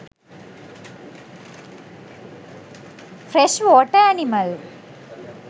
fresh water animal